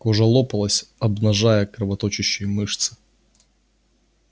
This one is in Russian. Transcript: кожа лопалась обнажая кровоточащие мышцы